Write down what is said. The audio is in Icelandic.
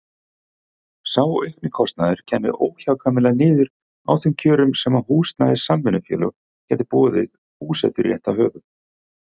Sá aukni kostnaður kæmi óhjákvæmilega niður á þeim kjörum sem húsnæðissamvinnufélög gætu boðið búseturéttarhöfum.